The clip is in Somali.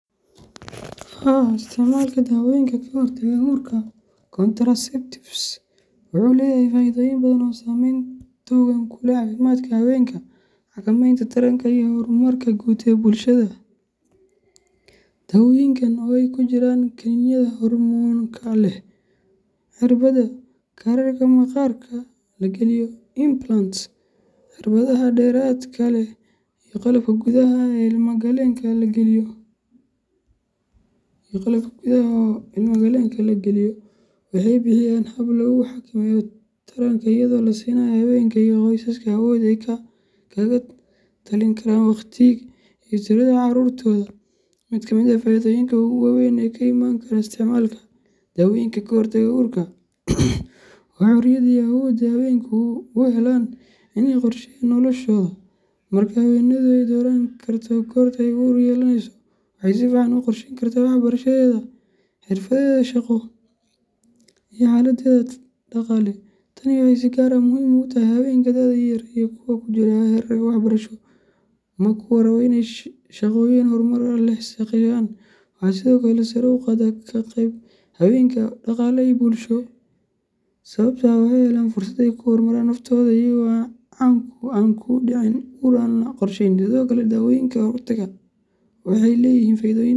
Haa, isticmaalka dawooyinka ka hortagga uurka contraceptives wuxuu leeyahay faa’iidooyin badan oo saameyn togan ku leh caafimaadka haweenka, xakameynta taranka, iyo horumarka guud ee bulshada. Dawooyinkan, oo ay ku jiraan kaniiniyada hormoonka leh, cirbada, kaararka maqaarka la geliyo implants, cirbadaha dheeraadka leh, iyo qalabka gudaha ilma galeenka la geliyo , waxay bixiyaan hab lagu xakameeyo taranka iyadoo la siinayo haweenka iyo qoysaska awood ay kaga talin karaan wakhtiga iyo tirada carruurtooda. Mid ka mid ah faa’iidooyinka ugu waaweyn ee ka iman kara isticmaalka dawooyinka ka hortagga uurka waa xorriyadda iyo awoodda ay haweenku u helaan inay qorsheeyaan noloshooda. Marka haweeneydu ay dooran karto goorta ay uur yeelaneyso, waxay si fiican u qorsheyn kartaa waxbarashadeeda, xirfadeeda shaqo, iyo xaaladdeeda dhaqaale. Tani waxay si gaar ah muhiim ugu tahay haweenka da'da yar iyo kuwa ku jira heerarka waxbarasho ama kuwa raba inay shaqooyin horumar leh ka shaqeeyaan. Waxay sidoo kale sare u qaaddaa ka qaybgalka haweenka ee dhaqaale iyo bulshada, sababtoo ah waxay helayaan fursad ay ku horumariyaan naftooda iyaga oo aan ku dhicin uur aan la qorsheynin. Sidoo kale, dawooyinka ka hortagga uurka waxay leeyihiin faa’iidooyin.